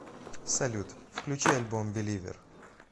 салют включи альбом беливер